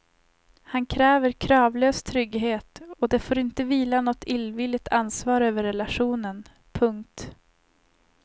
Han kräver kravlös trygghet och det får inte vila något illvilligt ansvar över relationen. punkt